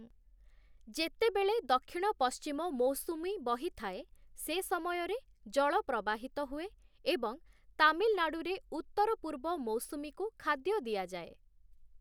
ଯେତେବେଳେ ଦକ୍ଷିଣ ପଶ୍ଚିମ ମୌସୁମୀ ବହିଥାଏ, ସେ ସମୟରେ ଜଳ ପ୍ରବାହିତ ହୁଏ ଏବଂ ତାମିଲନାଡୁରେ ଉତ୍ତର ପୂର୍ବ ମୌସୁମୀକୁ ଖାଦ୍ୟ ଦିଆଯାଏ ।